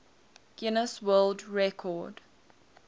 guinness world record